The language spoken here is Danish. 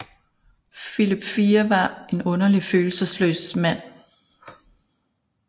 Filip 4 var en underligt følelsesløs mand